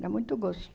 Era muito